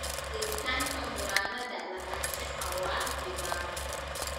Jiritaanka murannada lahaanshaha waa dhibaato.